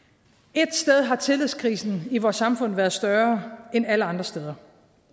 ét sted har tillidskrisen i vores samfund været større end alle andre steder